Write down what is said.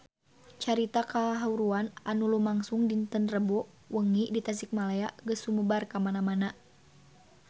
Carita kahuruan anu lumangsung dinten Rebo wengi di Tasikmalaya geus sumebar kamana-mana